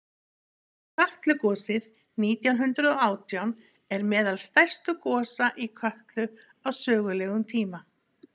kötlugosið nítján hundrað og átján er meðal stærstu gosa í kötlu á sögulegum tíma